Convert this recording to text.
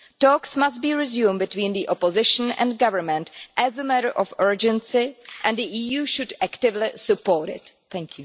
Talks must be resumed between the Opposition and Government as a matter of urgency, and the EU should actively support this.